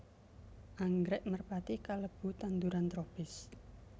Anggrèk merpati kalebu tanduran tropis